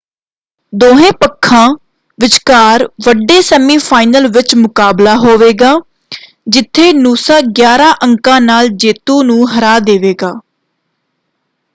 ਦੋਹੇਂ ਪੱਖਾਂ ਵਿਚਕਾਰ ਵੱਡੇ ਸੈਮੀਫਾਈਨਲ ਵਿੱਚ ਮੁਕਾਬਲਾ ਹੋਵੇਗਾ ਜਿੱਥੇ ਨੂਸਾ 11 ਅੰਕਾਂ ਨਾਲ ਜੇਤੂ ਨੂੰ ਹਰਾ ਦੇਵੇਗਾ।